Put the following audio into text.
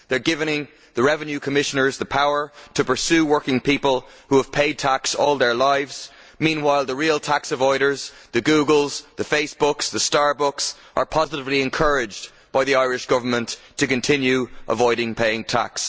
They are giving the revenue commissioners the power to pursue working people who have paid tax all their lives, meanwhile the real tax avoiders the Googles, the Facebooks, and the Starbucks are positively encouraged by the Irish Government to continue to avoid paying tax.